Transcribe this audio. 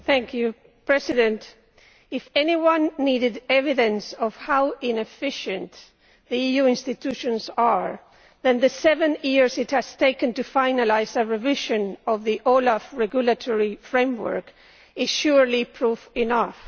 Mr President, if anyone needed evidence of how inefficient the EU institutions are, then the seven years it has taken to finalise a revision of the OLAF regulatory framework is surely proof enough.